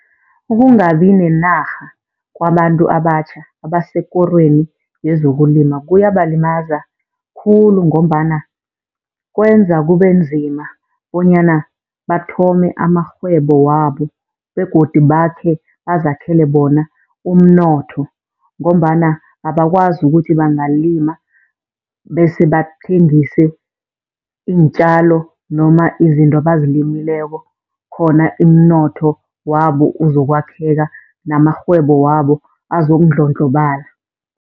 Ukungabi nenarha kwabantu abatjha abasekorweni yezokulima kuyabalimaza khulu, ngombana kwenza kube nzima bonyana bathome amarhwebo wabo begodu bakhe bazakhele bona umnotho. Ngombana abakwazi ukuthi bangalima bese bathengise iintjalo noma izinto abazilimeleko khona umnotho wabo uzokwakheka namarhwebo wabo azokundlondlobala.